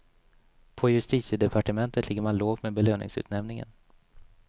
På justitiedepartementet ligger man lågt med belöningsutnämningen.